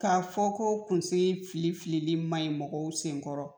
K'a fɔ ko kunsigi filifili manɲi mɔgɔw senkɔrɔ